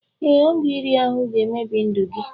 Ee, ọgwụ iri ahụ ga-emebi ndụ gị